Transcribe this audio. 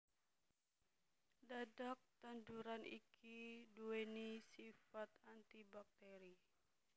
Dhadhak tanduran iki duwéni sifat antibakteri